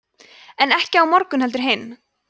en ekki á morgun heldur hinn